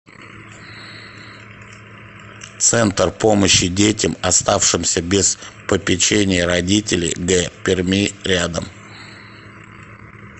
центр помощи детям оставшимся без попечения родителей г перми рядом